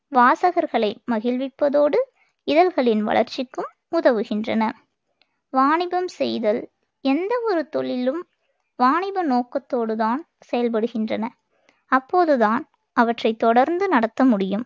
வாசகர்களை மகிழ்விப்பதோடு, இதழ்களின் வளர்ச்சிக்கும் உதவுகின்றன. வாணிபம் செய்தல் எந்தவொரு தொழிலும் வாணிப நோக்கத்தோடுதான் செயல்படுகின்றன. அப்போதுதான் அவற்றைத் தொடர்ந்து நடத்த முடியும்.